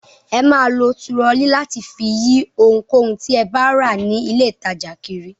Ẹ máa lo turọlí láti fi yí ohunkóhun tí ẹ bá rà ní ilé-ìtajà kiri.